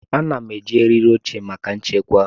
Ana m eji eriri oche maka nchekwa.